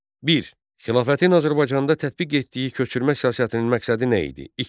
Bir, Xilafətin Azərbaycanda tətbiq etdiyi köçürmə siyasətinin məqsədi nə idi?